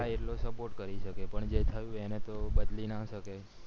હા એટલો support કરી શકે જે થયું એને તો બદલી ના શકે